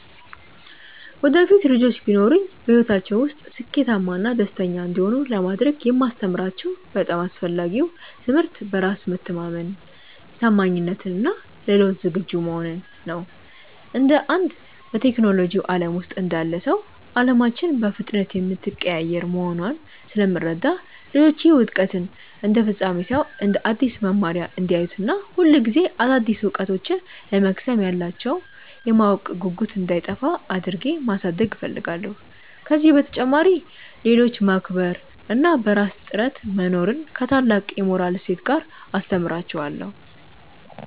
ወደፊት ልጆች ቢኖሩኝ፣ በሕይወታቸው ውስጥ ስኬታማና ደስተኛ እንዲሆኑ ለማድረግ የማስተምራቸው በጣም አስፈላጊው ትምህርት በራስ መተማመንን፣ ታማኝነትን እና ለለውጥ ዝግጁ መሆንን ነው። እንደ አንድ በቴክኖሎጂው ዓለም ውስጥ እንዳለ ሰው፣ ዓለማችን በፍጥነት የምትቀያየር መሆኗን ስለምረዳ፣ ልጆቼ ውድቀትን እንደ ፍጻሜ ሳይሆን እንደ አዲስ መማሪያ እንዲያዩት እና ሁልጊዜ አዳዲስ እውቀቶችን ለመቅሰም ያላቸው የማወቅ ጉጉት እንዳይጠፋ አድርጌ ማሳደግ እፈልጋለሁ። ከዚህ በተጨማሪ፣ ሌሎችን ማክበር እና በራስ ጥረት መኖርን ከታላቅ የሞራል እሴት ጋር አስተምራቸዋለሁ።